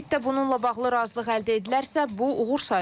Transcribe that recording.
Sammitdə bununla bağlı razılıq əldə edilərsə, bu uğur sayıla bilər.